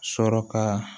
Sɔrɔ ka